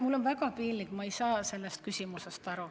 Mul on väga piinlik, ma ei saa sellest küsimusest aru.